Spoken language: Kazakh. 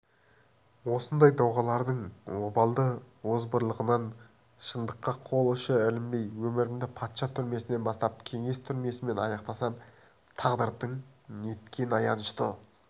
осындай доғалдардың обалды озбырлығынан шындыққа қол ұшы ілінбей өмірімді патша түрмесінен бастап кеңес түрмесімен аяқтасам тағдырың неткен аянышты